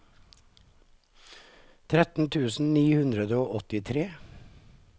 tretten tusen ni hundre og åttitre